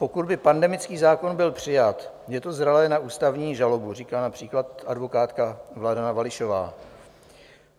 Pokud by pandemický zákon byl přijat, je to zralé na ústavní žalobu, říká například advokátka Vladana Vališová.